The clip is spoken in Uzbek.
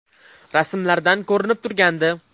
Rasmlardan ko‘rinib turgandi.